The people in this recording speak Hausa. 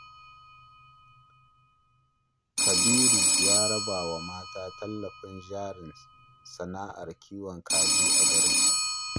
Kabiru ya raba wa mata talatin jarin sana'ar kiwon kaji a garin